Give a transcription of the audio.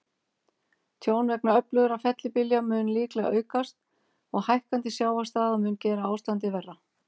Tjón vegna öflugra fellibylja mun líklega aukast, og hækkandi sjávarstaða mun gera ástandið verra.